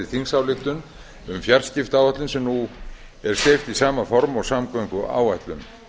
þingsályktunartillögu um fjarskiptaáætlun sem nú er sett í sama form og samgönguáætlun